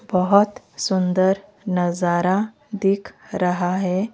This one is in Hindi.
बहोत सुंदर नजारा दिख रहा है।